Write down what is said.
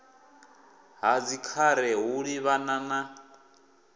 ha dzikhare u livhana na